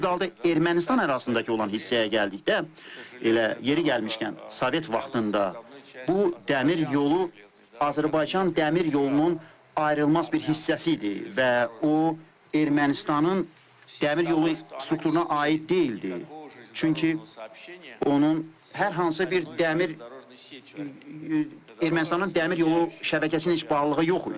O ki qaldı Ermənistan ərazisindəki olan hissəyə gəldikdə, elə yerin gəlmişkən, Sovet vaxtında bu dəmir yolu Azərbaycan dəmir yolunun ayrılmaz bir hissəsi idi və o Ermənistanın dəmir yolu strukturuna aid deyildi, çünki onun hər hansı bir dəmir, Ermənistanın dəmir yolu şəbəkəsinin heç bağlılığı yox idi.